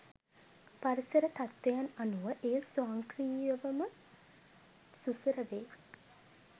පරිසර තත්වයන් අනූව එය ස්වංක්‍රීයවම සුසර වේ.